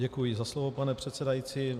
Děkuji za slovo, pane předsedající.